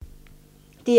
DR1